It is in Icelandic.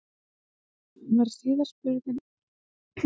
Hann var síðan spurður að því, hver markmiðin séu?